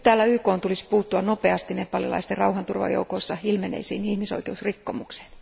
YKn tulisi puuttua nopeasti nepalilaisten rauhanturvajoukoissa ilmenneisiin ihmisoikeusrikkomuksiin.